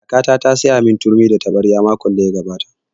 Kakata ta saya mun turmi da taɓarya makon da ya gabata